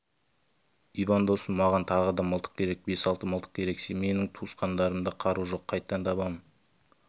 иван досым маған тағы да мылтық керек бес-алты мылтық керек менің туысқандарымда қару жоқ қайдан табамын